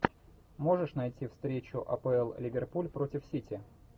можешь найти встречу апл ливерпуль против сити